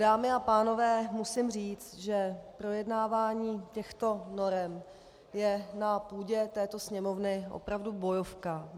Dámy a pánové, musím říct, že projednávání těchto norem je na půdě této Sněmovny opravdu bojovka.